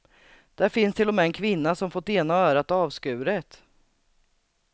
Där finns till och med en kvinna som fått ena örat avskuret.